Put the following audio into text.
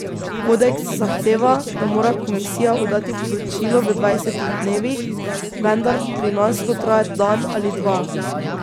Kodeks zahteva, da mora komisija oddati poročilo v dvajsetih dnevih, vendar pri nas to traja dan ali dva.